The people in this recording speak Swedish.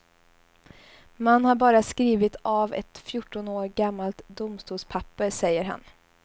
Man har bara skrivit av ett fjorton år gammalt domstolspapper, säger han.